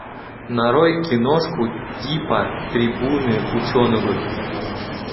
нарой киношку типа трибуны ученого